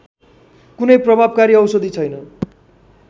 कुनै प्रभावकारी औषधि छैन